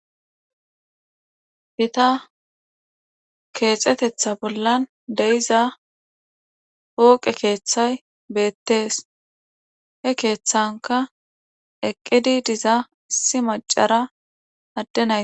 Gita kexetetha bolla de'eza poqe kethay betes he kethanka eqidi dizay betes issi machara Ade naytara.....